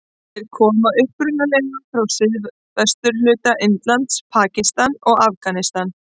Þeir koma upprunalega frá suðvesturhluta Indlands, Pakistan og Afganistan.